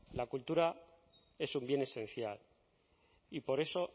la cultura es un bien esencial y por eso